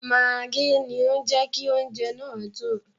Mágí ni ó jẹ́ kí oúnjẹ náà dùn.